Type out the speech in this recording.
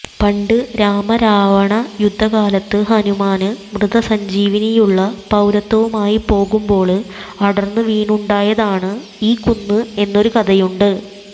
പണ്ട് രാമരാവണയുദ്ധകാലത്ത് ഹനുമാന് മൃതസഞ്ജീവിനിയുള്ള പര്വതവുമായി പോകുമ്പോള് അടര്ന്ന് വീണുണ്ടായതാണ് ഈ കുന്ന് എന്നൊരുകഥയുണ്ട്